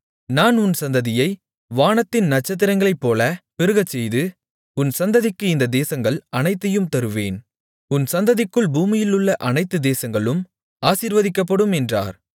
நான் உன் சந்ததியை வானத்தின் நட்சத்திரங்களைப்போலப் பெருகச்செய்து உன் சந்ததிக்கு இந்தத் தேசங்கள் அனைத்தையும் தருவேன் உன் சந்ததிக்குள் பூமியிலுள்ள அனைத்து தேசங்களும் ஆசீர்வதிக்கப்படும் என்றார்